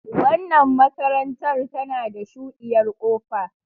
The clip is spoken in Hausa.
Wannan makarantar tana da shuɗiyar kofa.